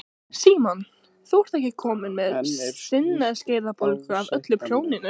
Símon: Þú ert ekkert komin með sinaskeiðabólgu af öllu prjóninu?